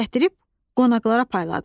Gətirib qonaqlara payladılar.